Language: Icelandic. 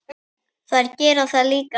Þær gera það líka?